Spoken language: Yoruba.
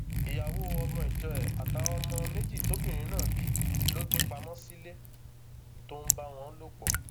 ìyàwó ọmọ ìjọ ẹ àtàwọn ọmọ méjì tóbìnrin náà bí ló gbé pamọ sílẹ tó ń bá wọn lò pọ